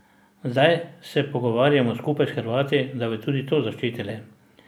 Zdaj se pogovarjamo skupaj s Hrvati, da bi tudi to zaščitili.